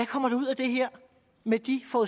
kommer ud af det her med de to